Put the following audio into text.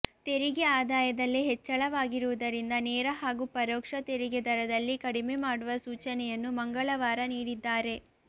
ತೆರಿಗೆ ಆದಾಯದಲ್ಲಿ ಹೆಚ್ಚಳವಾಗಿರುವುದರಿಂದ ನೇರ ಹಾಗೂ ಪರೋಕ್ಷ ತೆರಿಗೆ ದರದಲ್ಲಿ ಕಡಿಮೆ ಮಾಡುವ ಸೂಚನೆಯನ್ನು ಮಂಗಳವಾರ ನೀಡಿದ್ದಾರೆ